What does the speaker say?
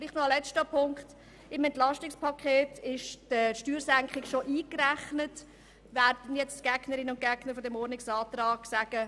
Vielleicht noch ein letzter Punkt: Die Gegnerinnen und Gegner dieses Antrags werden sagen, die Steuersenkungen seien im EP ja bereits eingerechnet.